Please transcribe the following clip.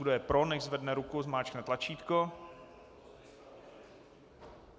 Kdo je pro, nechť zvedne ruku, zmáčkne tlačítko.